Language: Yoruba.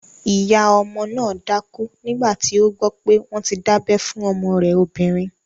Ìyá ọmọ náà dákú nígbàtí ó gbọ́ pé wọ́n ti dábẹ́ fún ọmọ rẹ̀ obìnrin